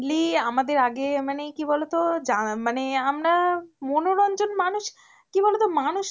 নিয়ে আমাদের আগের মানে কি বলতো মানে আমরা মনোরঞ্জন মানুষ, কি বলতো মানুষ